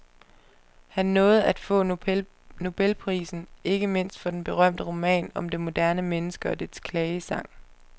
Han nåede at få nobelprisen, ikke mindst for den berømte roman om det moderne menneske og dets klagesang.